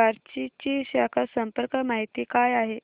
बार्शी ची शाखा संपर्क माहिती काय आहे